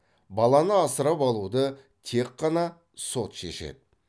баланы асырап алуды тек қана сот шешеді